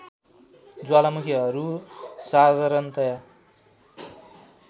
ज्वालामुखीहरू साधारणतया